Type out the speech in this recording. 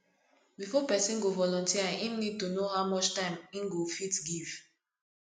before person go volunteer im need to know how much time im go fit give